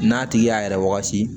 N'a tigi y'a yɛrɛ wagati